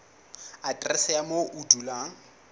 aterese ya moo o dulang